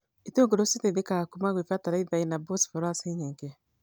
itũngũrũ citeithĩkaga kuuma gwĩ bataraitha ĩna bosboraci nyingĩ.